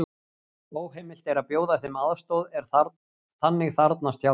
Óheimilt er að bjóða þeim aðstoð er þannig þarfnast hjálpar.